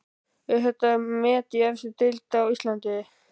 Er þetta met í efstu deild á Íslandi?